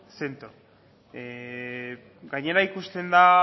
zentro gainera ikusten da